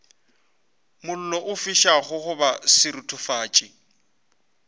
mollo o fišago goba seruthufatši